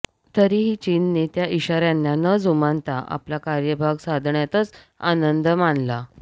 तरीही चीनने त्या इशार्यांना न जुमानता आपला कार्यभाग साधण्यातच आनंद मानला